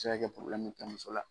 A bɛ se ka mi kɛ muso la.